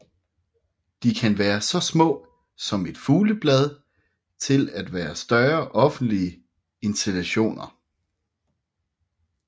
De kan være så små som et fuglebad til være større offentlige installationer